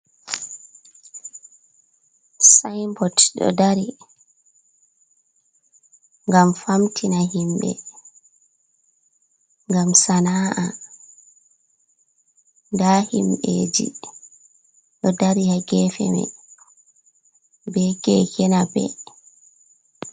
Sinbot r gam famtina himɓe gam sana’a da himbeji ɗo dari ha gefe mai be kekena ɓe.